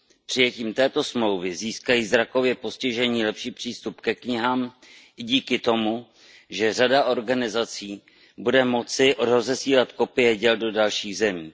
Přijetím této smlouvy získají zrakově postižení lepší přístup ke knihám i díky tomu, že řada organizací bude moci rozesílat kopie děl do dalších zemí.